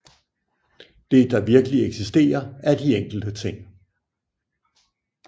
Det der virkeligt eksisterer er de enkelte ting